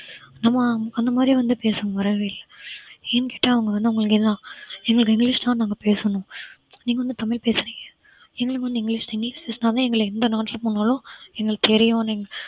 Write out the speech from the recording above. நம்ம அந்த மாதிரி வந்து பேசனும் வரவே இல்லை ஏன்னு கேட்ட அவங்க வந்து எங்களுக்கு இங்கிலிஷ் தான் நாங்க பேசணும் நீங்க வந்து தமிழ் பேசுறீங்க எங்களுக்கு வந்து இங்கிலிஷ் இங்கிலிஷ் பேசினாதான் எங்களை எந்த நாட்டுக்கு போனாலும் எங்களுக்கு தெரியும் நீங்க